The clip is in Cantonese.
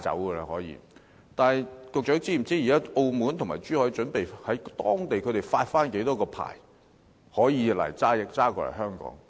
不過，局長是否知悉，現時澳門和珠海準備在當地發出多少個可以駕駛至香港的牌照？